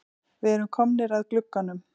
Við erum komnir að glugganum.